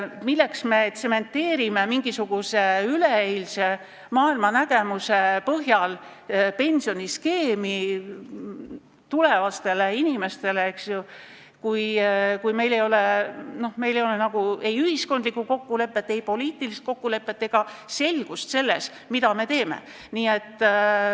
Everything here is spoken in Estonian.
Milleks me tsementeerime mingisuguse üleeilse maailmanägemuse põhjal pensioniskeemi tulevastele pensionäridele, kui meil pole ei ühiskondlikku kokkulepet, poliitilist kokkulepet ega üldse selgust selles, mida me teeme?